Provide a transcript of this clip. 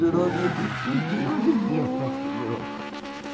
Durou vinte vinte e nove dias, parece que durou.